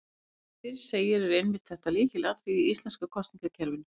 Sem fyrr segir er einmitt þetta lykilatriði í íslenska kosningakerfinu.